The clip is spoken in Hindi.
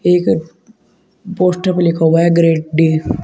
एक पोस्टर पे लिखा हुआ है ग्रेट डे --